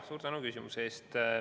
Suur tänu küsimuse eest!